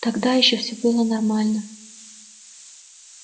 тогда ещё все было нормально